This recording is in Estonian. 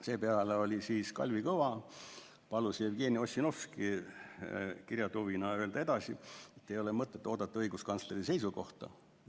Seepeale Kalvi Kõva palus Jevgeni Ossinovski kirjatuvina öelda edasi, et ei ole mõtet oodata õiguskantsleri seisukohta.